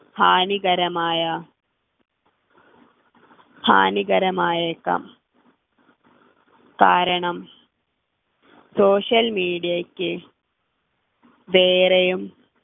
ഹാനികരമായ ഹാനികരമയേക്കാം കാരണം social media യ്ക്ക് വേറെയും